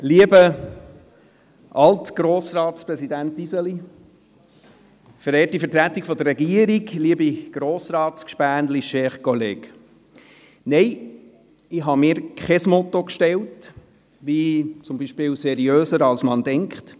Lieber Alt-Grossratspräsident Iseli, verehrte Vertretung der Regierung, liebe Grossratsgefährten, chers collègues: Nein, ich habe mir kein Motto gesetzt, wie zum Beispiel «seriöser als man denkt».